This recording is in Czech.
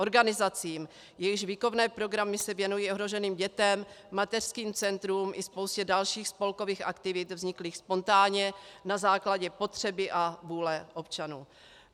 Organizacím, jejichž výchovné programy se věnují ohroženým dětem, mateřským centrům i spoustě dalších spolkových aktivit vzniklých spontánně na základě potřeby a vůle občanů.